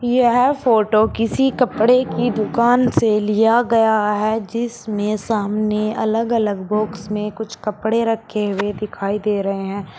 यह फोटो किसी कपड़े की दुकान से लिया गया है जिसमें सामने अलग अलग बॉक्स में कुछ कपड़े रखे हुए दिखाई दे रहे हैं।